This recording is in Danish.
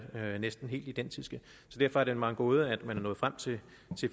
næsten helt identiske så derfor er det mig en gåde at man er nået frem til